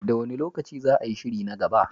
Da wane lokaci za a yi shiri na gaba?